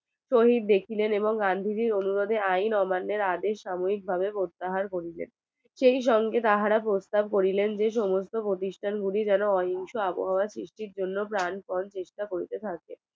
শহীদ দেখিলেন এবং গান্ধীজির অনুরোধে আইন অমান্যের আদেশ সাময়িক ভাবে করতে হয় বললেন সে সঙ্গে তারা প্রস্তাব করিলেন যেসমস্ত প্রতিষ্ঠান গুলি যেনো অহিংস আবহাওয়া সৃষ্টির জন্য প্রাণ পন চেষ্টা করতে থাকে